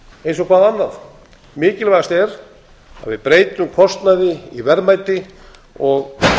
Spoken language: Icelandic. eins og hvað annað mikilvægast er að við breytum kostnaði í verðmæti og